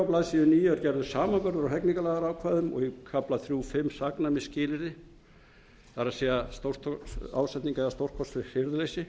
blaðsíðu níu er gerður samanburður á hegningarlagaákvæðum og í kafla þrjú fimm saknæmisskilyrði það er ásetning eða stórkostlegt hirðuleysi